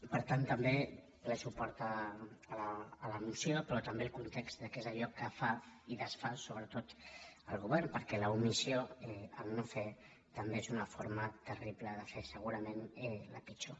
per tant també ple suport a la moció però també el context de què és allò que fa i desfà sobretot el govern perquè l’omissió no fer també és una forma terrible de fer segurament la pitjor